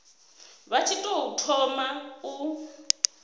vha tshi tou thoma u